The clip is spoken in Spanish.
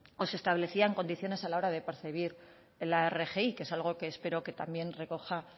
o se establecían condiciones a la hora de percibir la rgi que es algo que espero que también recoja